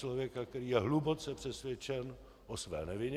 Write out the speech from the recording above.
Člověka, který je hluboce přesvědčen o své nevině.